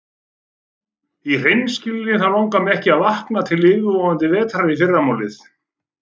Í hreinskilni þá langar mig ekki að vakna til yfirvofandi vetrar í fyrramálið.